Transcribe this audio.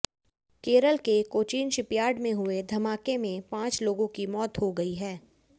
केरल के कोचीन शिपयार्ड में हुए धमाके में पांच लोगों की मौत हो गई है